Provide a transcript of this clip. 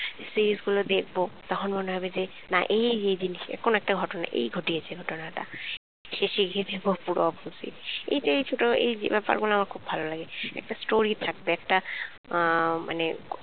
series গুলো দেখবো তখন মনে হবে যে না এই এই জিনিসএরকম একটা ঘটনা এই ঘটিয়েছে ঘটনাটা শেষে গিয়ে দেখবো এর opposite এই যে ছোট ব্যাপার গুলো আমার খুব ভালো লাগে একটা story থাকবে আহ মানে